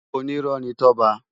Ónirò ni Toba